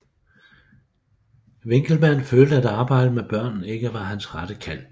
Winckelmann følte at arbejdet med børnene ikke var hans rette kald